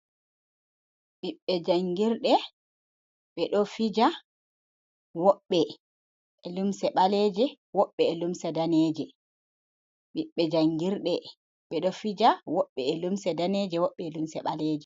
Ɓiɓɓe jangirde ɓe ɗo fija. Woɓɓe e'limse daneje, woɓɓe limse ɓaleje.